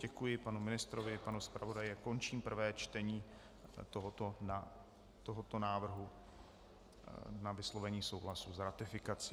Děkuji panu ministrovi, panu zpravodaji a končím prvé čtení tohoto návrhu na vyslovení souhlasu s ratifikací.